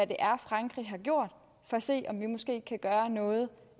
det er frankrig har gjort for at se om vi måske kan gøre noget